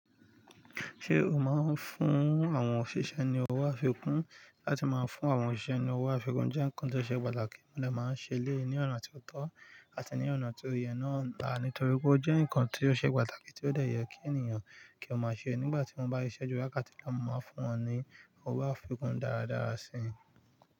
Ṣé o máa ń fún àwọn òṣìṣẹ́ ni owó àfikún? Láti máa fún àwọn òṣìṣẹ́ ni owó àfikún jẹ́ nǹkan tó ṣe pàtàkì, mo dà máa ń ṣe léè ní ọ̀nà tí ó tọ́ àti ní ọ̀nà tí o ye náà nítorí pé ó jẹ́ nǹkan tó ṣe pàtàkì tí ó de yẹ́ kí ènìyàn kí ó máa ṣe nígbà tí wọ́n bá siṣẹ́ bi wakati kan máa fún wọn ní owó àfikún daadaa si.